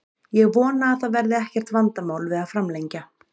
Ég vona að það verði ekkert vandamál við að framlengja.